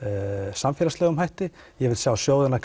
samfélagslegri hætti ég vil sjá sjóðina